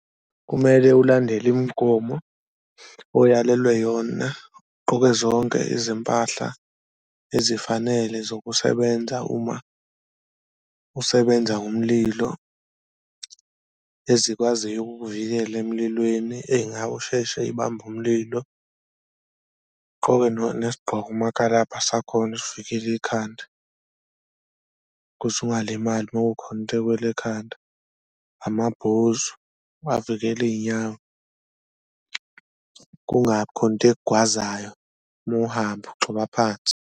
Kumele ulandele imgomo oyalelwe yona ugqoke zonke izimpahla ezifanele zokusebenza uma usebenza ngomlilo ezikwaziyo ukukuvikela emlilweni, usheshe y'bambe umlilo, ugqoke nesigqoko umakalabha sakhona esivikela ikhanda kuze ungalimali uma kukhona into ekuwela ekhanda. Amabhuzu avikela iy'nyawo kungabi khona into ekugwazayo uma uhamba ugxoba phansi.